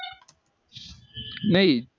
पण